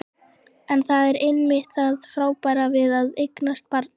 En það er einmitt það frábæra við að eignast barn.